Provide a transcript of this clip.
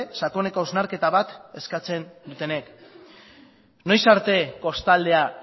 sakoneko hausnarketa bat eskatzen dutenek noiz arte kostaldea